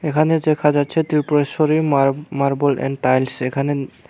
এখানে দেখা যাচ্ছে ত্রিপুরেশ্বরী মার মার্বেল এন্ড টাইলস এখানে--